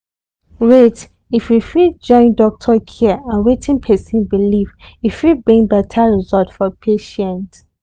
wait if we fit join doctor care and wetin person believe e fit bring better result for patient.